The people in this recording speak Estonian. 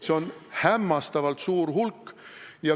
See hulk on hämmastavalt suur.